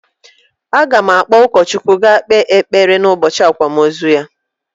A ga m akpọ ụkọchukwu ga ekpe ekpere n'ubọchị akwamozu ya